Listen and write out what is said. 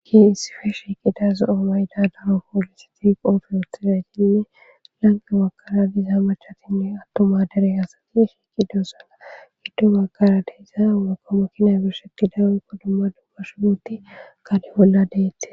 Ki hissife sheqidaza oomayda daro poolisiti qoofe wuthidaytinne lanqe wakara diiza macatinne attoma dere hasati shieqido sanagiddo makara deyza mako mokinay birshekidawunko dumma dummashunuti gali bolla deette.